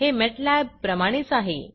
हे मॅटलॅबप्रमाणेच आहे